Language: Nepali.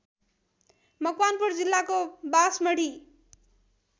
मकवानपुर जिल्लाको बासमढी